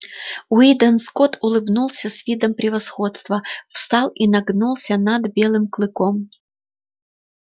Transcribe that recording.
уидон скотт улыбнулся с видом превосходства встал и нагнулся над белым клыком